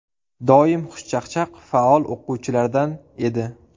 Doim xushchaqchaq, faol o‘quvchilardan edi.